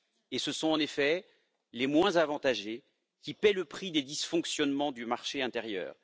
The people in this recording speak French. Et ce sont en effet les moins avantagés qui paient le prix des dysfonctionnements du marché intérieur.